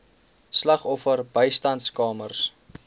slagoffer bystandskamers